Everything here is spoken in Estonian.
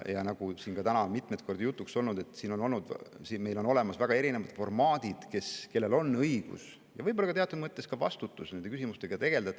Nagu siin täna on mitmeid kordi jutuks olnud, meil on olemas väga erinevad formaadid, millises vormis on õigus nende küsimustega tegelda ja võib-olla on seal teatud mõttes ka see vastutus.